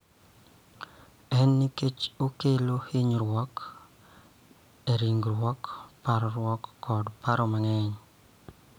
En nikech okelo hinyruok e ringruok, parruok, kod paro mang�eny.